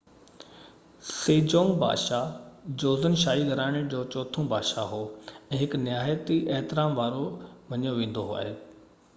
Sejong بادشاه Joseon شاهي گهراڻي جو چوٿون بادشاه هو ۽ هڪ نهيات احترام وارو مڃيو ويندو آهي